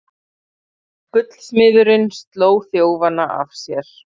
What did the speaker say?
Gullsmiðurinn sló þjófana af sér